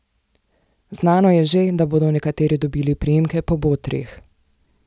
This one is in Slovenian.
Znano je že, da bodo nekateri dobili priimke po botrih.